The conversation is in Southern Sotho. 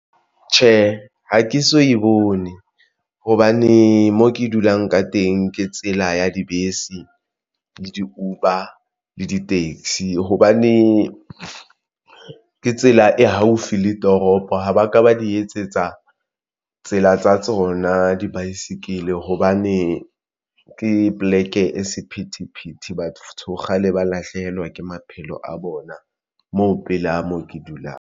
Tjhe, ha ke so e bone hobane mo ke dulang ka teng. Ke tsela ya dibese le di-Uber le di-taxi hobane tsela e haufi le toropo ha ba ka ba di etsetsa tsela tsa tsona di-bicycle hobane ke poleke e sephethephethe. Batho kgale ba lahlehelwa ke maphelo a bona moo pela moo ke dulang.